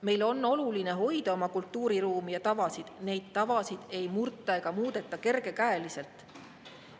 Meile on oluline hoida oma kultuuriruumi ja tavasid, neid tavasid ei murta ega muudeta kergekäeliselt.